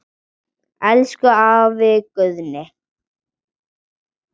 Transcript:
Elsku afi Guðni.